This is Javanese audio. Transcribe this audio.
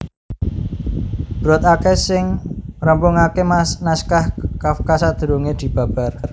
Brod akèh sing ngrampungaké naskah Kafka sadurungé dibabar